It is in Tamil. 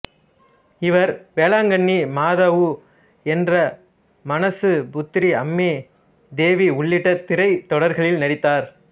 இவர் வேளாங்கண்ணி மாதாவு என்றெ மானச புத்ரி அம்மே தேவி உள்ளிட்ட திரைத் தொடர்களில் நடித்தார்